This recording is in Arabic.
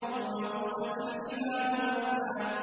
وَبُسَّتِ الْجِبَالُ بَسًّا